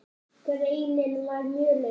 Greinin var mjög löng.